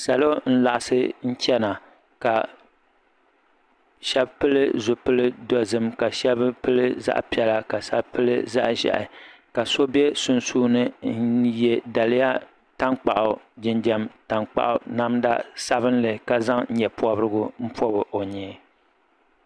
Salo n laɣisi chana ka shɛba pili zipili dozim ka shɛba zaɣa piɛla ka shɛba pili zaɣa ʒiɛhi ka so bɛ sunsuuni n yɛ daliya tankpaɣu jinjam tankpaɣu namda sabinli ka zaŋ nyɛ pɔbirigu n pɔbi o nyee.